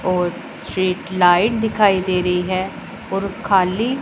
और street light दिखाई दे रही है और खाली--